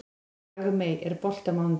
Dagmey, er bolti á mánudaginn?